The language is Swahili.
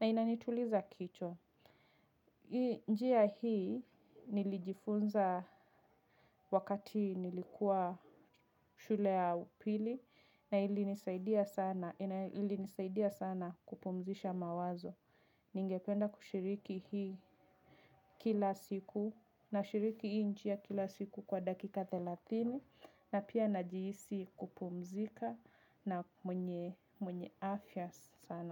na inanituliza kichwa. Njia hii nilijifunza wakati nilikuwa shule ya upili na ili nisaidia sana kupumzisha mawazo. Ningependa kushiriki hii kila siku na shiriki hii njia kila siku kwa dakika thelathini na pia najihisi kupumzika na mwenye afya sana.